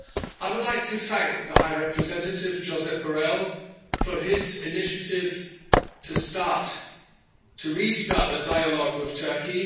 I would like to thank the High Representative, Josep Borrell, for his initiative to start, to restart a dialogue with Turkey.